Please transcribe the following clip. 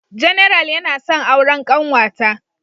General yana son auren kanwata.